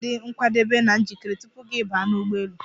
Ị ga-adị nkwadebe na njikere tupu gị baa n'ụgbọelu.